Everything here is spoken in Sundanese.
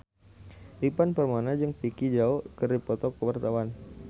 Ivan Permana jeung Vicki Zao keur dipoto ku wartawan